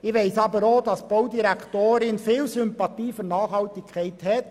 Ich weiss aber auch, dass die Baudirektion grosse Sympathie für Nachhaltigkeit hat.